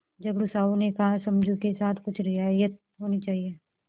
झगड़ू साहु ने कहासमझू के साथ कुछ रियायत होनी चाहिए